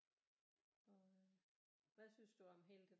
Og øh hvad synes du om hele det